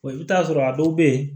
i bɛ taa sɔrɔ a dɔw bɛ yen